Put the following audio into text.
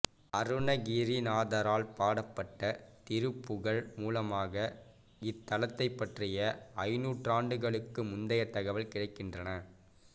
அருணகிரிநாதரால் பாடப்பட்ட திருப்புகழ் மூலமாக இத்தலத்தை பற்றிய ஐந்து நூற்றாண்டுகளுக்கு முந்தைய தகவல் கிடைக்கின்றன